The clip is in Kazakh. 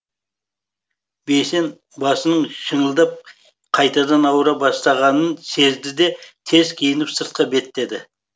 бейсен басының шыңылдап қайтадан ауыра бастағанын сезді де тез киініп сыртқа беттеді